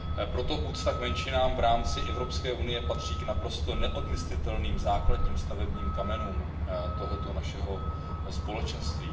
Proto úcta k menšinám v rámci Evropské unie patří k naprosto neodmyslitelným základním stavebním kamenům tohoto našeho společenství.